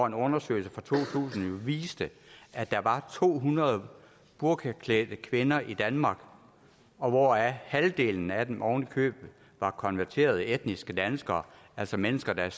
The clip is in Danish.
en undersøgelse fra to tusind viste at der var to hundrede burkaklædte kvinder i danmark hvoraf halvdelen af dem oven i købet var konverterede etniske danskere altså mennesker der